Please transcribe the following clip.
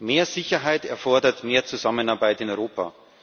Mehr Sicherheit erfordert mehr Zusammenarbeit in Europa.